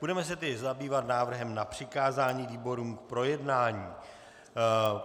Budeme se tedy zabývat návrhem na přikázání výborům k projednání.